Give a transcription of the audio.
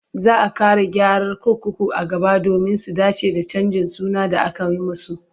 Za a ƙara gyara kurkuku a gaba domin su dace da canjin suna da aka yi musu.